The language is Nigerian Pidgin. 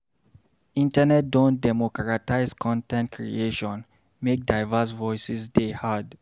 Internet don democratize con ten t creation, make diverse voices dey heard.